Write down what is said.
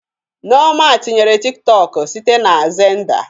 Nneoma tinyerem Tiktọk site na Xenda